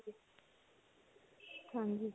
ਹਾਂਜੀ.